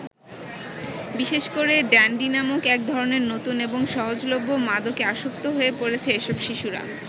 বিশেষ করে ড্যান্ডি নামক এক ধরনের নতুন এবং সহজলভ্য মাদকে আসক্ত হয়ে পড়েছে এসব শিশুরা।